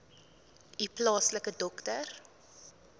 u plaaslike dokter